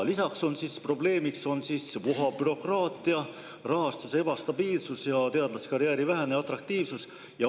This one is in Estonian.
Lisaks on probleemiks vohav bürokraatia, rahastuse ebastabiilsus ja teadlaskarjääri vähene atraktiivsus.